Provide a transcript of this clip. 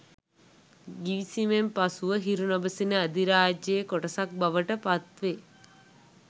ගිවිසුමෙන් පසුව හිරු නොබසින අධිරාජ්‍යයයේ කොටසක් බවට පත් වේ